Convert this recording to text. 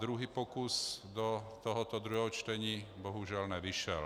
Druhý pokus do tohoto druhého čtení bohužel nevyšel.